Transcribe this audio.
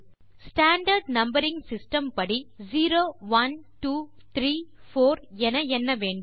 standard numbering system படி zero one two three four என எண்ண வேண்டும்